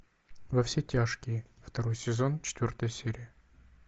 во все тяжкие второй сезон четвертая серия